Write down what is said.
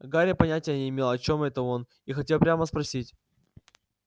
гарри понятия не имел о чём это он и хотел прямо спросить